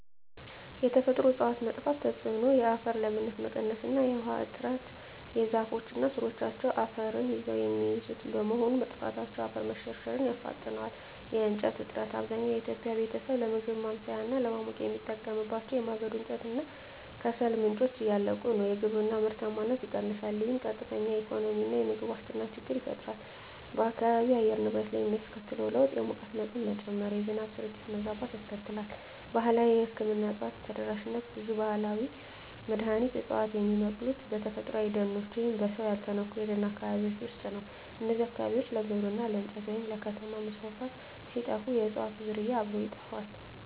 የተፈጥሮ እፅዋት መጥፋት ተጽዕኖ የአፈር ለምነት መቀነስ እና የውሃ እጥረ ዛፎች እና ሥሮቻቸው አፈርን ይዘው የሚይዙት በመሆኑ፣ መጥፋታቸው የአፈር መሸርሸርን ያፋጥነዋል። የእንጨት እጥረት፣ አብዛኛው የኢትዮጵያ ቤተሰብ ለምግብ ማብሰያ እና ለማሞቂያ የሚጠቀምባቸው የማገዶ እንጨት እና ከሰል ምንጮች እያለቁ ነው። የግብርና ምርታማነት ይቀንሳል፣ ይህም ቀጥተኛ የኢኮኖሚና የምግብ ዋስትና ችግር ይፈጥራል። በአካባቢው የአየር ንብረት ላይ የሚያስከትለው ለውጥ የሙቀት መጠን መጨመር፣ የዝናብ ስርጭት መዛባት ያስከትላል። ባህላዊ የሕክምና እፅዋት ተደራሽነት ብዙ ባህላዊ መድኃኒት ዕፅዋት የሚበቅሉት በተፈጥሮአዊ ደኖች ወይም በሰው ያልተነኩ የደን አካባቢዎች ውስጥ ነው። እነዚህ አካባቢዎች ለግብርና፣ ለእንጨት ወይም ለከተማ መስፋፋት ሲጠፉ፣ የእፅዋቱም ዝርያ አብሮ ይጠፋል።